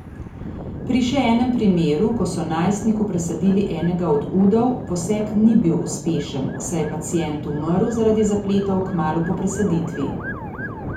Pri še enem primeru, ko so najstniku presadili enega od udov, poseg ni bil uspešen, saj je pacient umrl zaradi zapletov kmalu po presaditvi.